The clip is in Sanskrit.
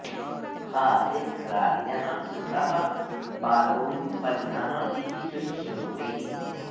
हा धिक् राज्ञः सुतः बालो विपन्नः इति शुश्रुवे